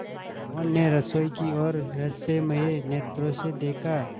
मोहन ने रसोई की ओर रहस्यमय नेत्रों से देखा